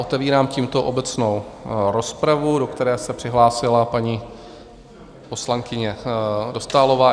Otevírám tímto obecnou rozpravu, do které se přihlásila paní poslankyně Dostálová.